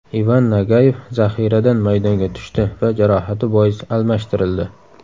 Ivan Nagayev zaxiradan maydonga tushdi va jarohati bois almashtirildi.